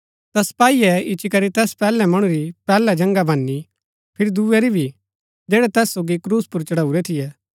ता सपाईये इच्ची करी तैस पैहलै मणु री पैहलै जन्गा भनी फिरी दूये री भी जैड़ै तैस सोगी क्रूस पुर चढाऊँरै थियै